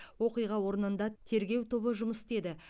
оқиға орнында тергеу тобы жұмыс істеді